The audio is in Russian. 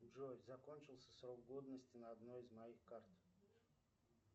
джой закончился срок годности на одной из моих карт